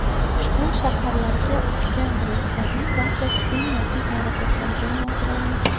Ushbu shaharlarga uchgan reyslarning barchasi eng yaqin aeroportlarga yo‘naltiriladi.